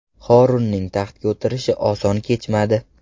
Horunning taxtga o‘tirishi oson kechmadi.